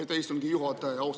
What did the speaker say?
Aitäh, istungi juhataja!